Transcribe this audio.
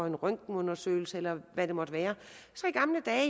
en røntgenundersøgelse eller hvad det måtte være